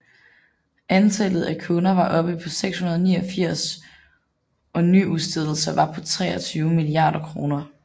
Antallet af kunder var oppe på 689 og nyudstedelser var på 23 milliarder kroner